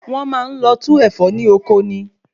Wọn Maa n lọ tú Ẹ̀fọ́ ní ọkọ ni